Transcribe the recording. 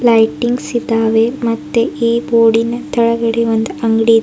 lightings ಇದಾವೆ ಮತ್ತೆ ಈ ಬೋರ್ಡಿ ನ ತಳಗಡೆ ಒಂದು ಅಂಗಡಿ --